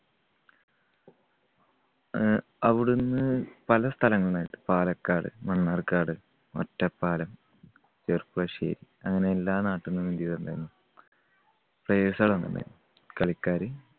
അഹ് അവിടുന്ന് പല സ്ഥലങ്ങളായിട്ട് പാലക്കാട്, മണ്ണാർക്കാട്, ഒറ്റപ്പാലം, ചെർപ്പുളശ്ശേരി അങ്ങനെ എല്ലാ നാട്ടിൽനിന്നും players കള് വന്നിട്ടുണ്ടായിരുന്നു, കളിക്കാര്